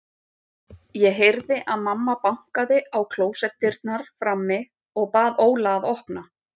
Ég heyrði að mamma bankaði á klósettdyrnar frammi og bað Óla að opna.